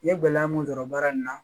N ye gɛlɛya mun sɔrɔ baara in na